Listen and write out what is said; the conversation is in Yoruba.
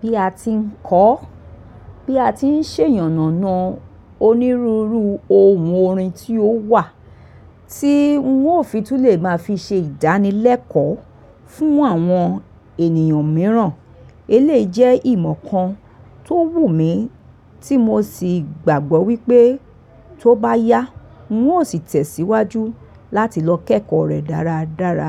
Bí a ti ń kọ́, bí a ti ń ṣe ìyànànà onírúurú ohun orin tí ó wà, tí ń ò fitún lè máa fi ṣe ìdánilẹ́kọ̀ọ́ fún àwọn ènìyàn mìíràn. Èyí jẹ́ ìmọ̀ kan tó wù mí, tí mo sì gbàgbọ́ wípé tó bá yá, ń ò sì tẹ̀síwájú láti lọ kẹ́kọ̀ọ́ rẹ̀ dáradára.